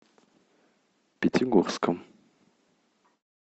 пятигорском